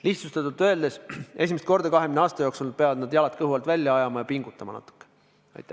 Lihtsustatult öeldes: esimest korda 20 aasta jooksul peavad nad jalad kõhu alt välja ajama ja natukene pingutama.